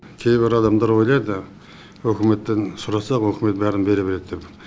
кейбір адамдар ойлайды үкіметтен сұрасақ үкімет бәрін бере береді деп